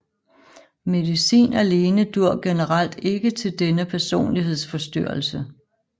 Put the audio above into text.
Medicin alene dur generelt ikke til denne personlighedsforstyrrelse